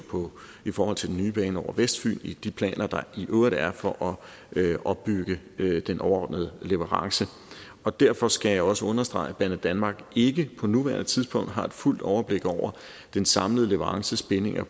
i forhold til den nye bane over vestfyn i de planer der i øvrigt er for at opbygge den overordnede leverance og derfor skal jeg også understrege at banedanmark ikke på nuværende tidspunkt har et fuldt overblik over den samlede leverances bindinger